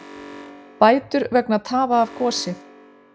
Bætur vegna tafa af gosi